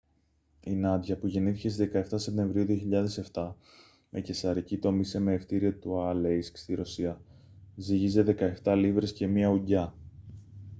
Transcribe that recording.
η νάντια που γεννήθηκε στις 17 σεπτεμβρίου 2007 με καισαρική τομή σε μαιευτήριο του αλέισκ στη ρωσία ζύγιζε 17 λίβρες και 1 ουγγιά